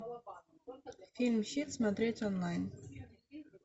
фильм щит смотреть онлайн